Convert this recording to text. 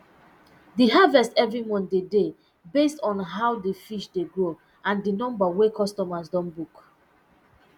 the harvest evri month de dey based on how di fish dey grow and di number wey customers don book